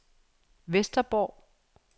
Vesterborg